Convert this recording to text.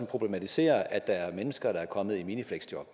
problematiserer at der er mennesker der er kommet i minifleksjob